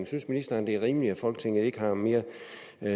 synes ministeren det er rimeligt at folketinget ikke har mere